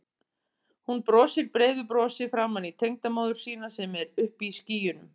Hún brosir breiðu brosi framan í tengdamóður sína sem er uppi í skýjunum.